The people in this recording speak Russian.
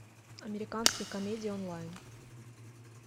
американские комедии онлайн